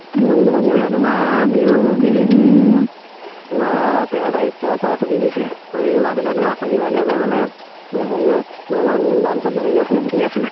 ঘুৰিবলৈ তোমাৰ বিহু কেইদিন তোমাৰ তেৰ তাৰিখৰ পৰা ছুটি দিছে। এই মাজতে তোমাৰ শনিবাৰ দেউবাৰে মানে হেৰিঅত আমাৰ main branch ত হেৰি আছিলে meeting আছিলে।